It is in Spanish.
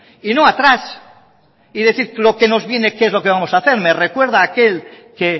y no atrás y decir lo que nos viene qué es lo que vamos hacer me recuerda aquel que